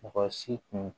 Mɔgɔ si tun